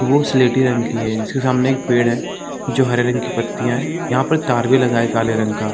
वो स्लेटी रंग की है जिसके सामने एक पेड़ है जो हरे रंग की पत्तियां यहां पर तार भी लगा है काले रंग का ।